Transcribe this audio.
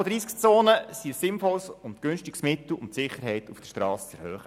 Tempo-30-Zonen sind ein sinnvolles und günstiges Mittel, um die Sicherheit auf der Strasse zu erhöhen.